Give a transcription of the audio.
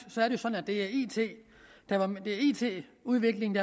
at det er it udviklingen